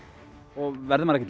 og verður maður